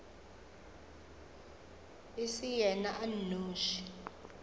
e se yena a nnoši